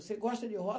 Você gosta de roça?